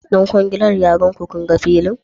Dan kwangilar ya kaiku kunga filin?